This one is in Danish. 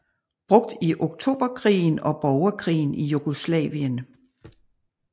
Brugt i Oktoberkrigen og borgerkrigen i Jugoslavien